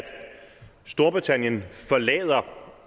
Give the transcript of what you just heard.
storbritannien forlader eu om